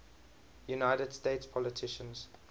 united states politicians